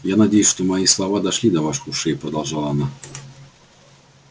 я надеюсь что мои слова дошли и до ваших ушей продолжала она